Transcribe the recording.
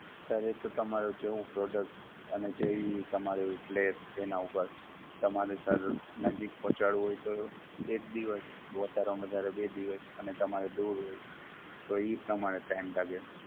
sir, એ તો તમારું જેવું product અને જેવી તમારી place એનાં ઉપર. તમારે sir નજીક પહોંચાડવું હોય તો એક દિવસ, વધારે માં વધારે બે દિવસ અને તમારે દૂર હોય તો ઈ પ્રમાણે Time લાગે.